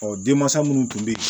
Ɔ denmansa minnu tun bɛ yen